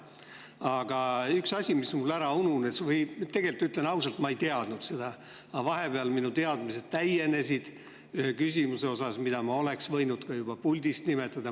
Aga üks asi, mis mul ära ununes, või tegelikult, ütlen ausalt, ma ei teadnud seda, aga vahepeal minu teadmised täienesid ühe võrra, mida ma oleks võinud juba puldist nimetada.